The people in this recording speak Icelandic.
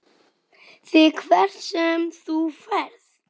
ÞIG HVERT SEM ÞÚ FERÐ.